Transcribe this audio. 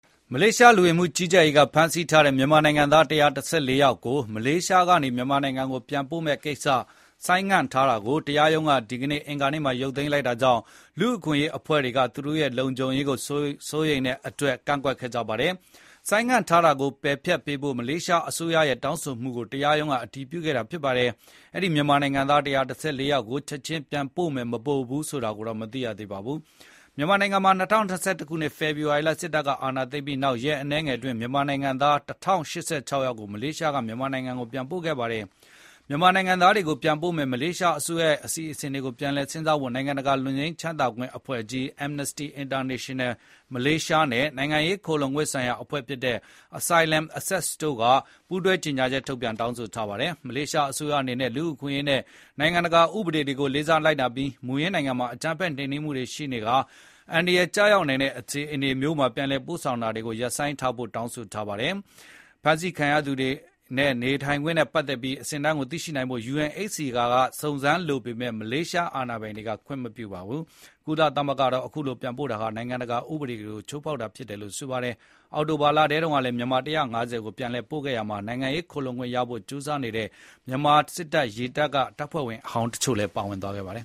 မလေးရှားလူဝင်မှုကြီးကြပ်ရေးကဖမ်းဆီးထားတဲ့ မြန်မာနိုင်ငံသား ၁၁၄ ယောက်ကို မလေးရှားကနေ မြန်မာနိုင်ငံကိုပြန်ပို့မယ့်ကိစ္စ ဆိုင်းငံ့ထားတာကို တရားရုံးကဒီကနေ့ အင်္ဂါနေ့မှာ ရုပ်သိမ်းလိုက်တာကြောင့် လူ့အခွင့်အရေးအဖွဲ့တွေက သူတို့ရဲ့လုံခြုံရေးစိုးရိမ်ပူပန်တဲ့အတွက်ကန့်ကွက်ကြပါတယ်။ ဆိုင်းငံ့ထားတာကိုပယ်ဖျက်ပေးဖို့ မလေးရှားအစိုးရရဲ့တောင်းဆိုမှုကို တရားရုံးကအတည်ပြုခဲ့တာဖြစ်ပါတယ်။ အဲဒီ မြန်မာနိုင်ငံသား ၁၁၄ ယောက်ကို ချက်ချင်း ပြန်ပို့မယ်၊ မပို့ဘူးဆိုတာကိုတော့ မသိရသေးပါဘူး။ မြန်မာနိုင်ငံမှာ ၂၀၂၁ ခုနှစ် ဖေဖော်ဝါရီလ စစ်တပ်ကအာဏာသိမ်းပြီးနောက် ရက်အနည်းငယ်အတွင်း မြန်မာနိုင်ငံသား ၁,၀၈၆ ယောက်ကို မလေးရှားက မြန်မာနိုင်ငံကို ပြန်ပို့ခဲ့ပါတယ်။ မြန်မာနိုင်ငံသားတွေကိုပြန်ပို့မယ့် မလေးရှားအစိုးရရဲ့အစီအစဉ်ကို ပြန်လည်စဉ်းစားဖို့ နိုင်ငံတကာလွတ်ငြိမ်းချမ်းသာခွင့်အဖွဲ့ကြီး Amnesty International မလေးရှားရုံးနဲ့ နိုင်ငံရေးခိုလှုံခွင့်ဆိုင်ရာအဖွဲ့ဖြစ်တဲ့ Asylum Access တို့က ပူးတွဲကြေငြာချက် ထုတ်ပြန်တောင်းဆိုထားပါတယ်။ မလေးရှားအစိုးရအနေနဲ့ လူ့အခွင့်အရေးနဲ့နိုင်ငံတကာ ဥပဒေတွေ ကိုလေးစားလိုက်နာပြီး မူရင်းနိုင်ငံမှာ အကြမ်းဖက်နှိမ်နင်းမှုတွေရှိနေပြီး အန္တရာယ်ကျရောက်နိုင်တဲ့အခြေအနေမျိုးမှာ ပြန်လည်ပို့ဆောင်တာတွေကိုရပ်ဆိုင်းထားဖို့ တောင်းဆိုပါတယ်လို့လည်း ဒီအဖွဲ့တွေကပြောထားပါတယ်။ ဖမ်းဆီးခံထားရသူတွေရဲ့နေထိုင်ခွင့်နဲ့ပတ်သက်ပြီးသိရှိနိုင်ဖို့ UNHCR ကစုံစမ်းလိုပေမယ့်လည်း မလေးရှား အာဏာပိုင်တွေက ခွင့်မပြုပါဘူး။ ကုလသမဂ္ဂကတော့ခုလို ပြန်ပို့တာဟာ နိုင်ငံတကာဥပဒေကို ချိုးဖောက်တာဖြစ်တယ်လို့ဆိုပါတယ်။ အောက်တိုဘာ လတုန်းကလည်း မြန်မာ ၁၅၀ ကို ပြန်လည်ပို့ခဲ့ရာမှာ နိုင်ငံရေးခိုလှုံခွင့်ရဖို့ ကြိုးစားနေတဲ့ မြန်မာစစ်တပ်က တပ်ဖွဲ့ဝင်ဟောင်းတချို့ပါဝင်ခဲ့ပါတယ်။